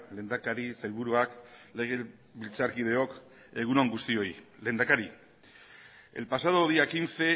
lehendakari sailburuak legebiltzarkideok egun on guztioi lehendakari el pasado día quince